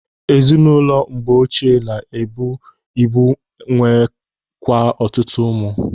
Ezinụlọ mgbe oche na-ebu ibu nwee kwa ọtụtụ ụmụ.